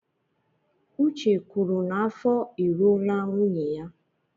Uche kwuru n'afọ e ruola nwunye ya.